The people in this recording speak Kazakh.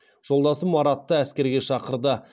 жолдасым маратты әскерге шақырды